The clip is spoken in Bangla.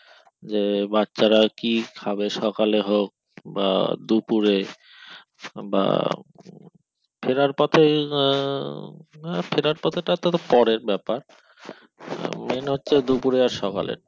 যে বাচ্চারা কি খাবে সকালে হোক বা দুপুরে বা ফেরার পথে আহ হ্যাঁ ফেরার পথ্যেটাতো পরের ব্যাপার main হচ্ছে দুপুরে আর সকালে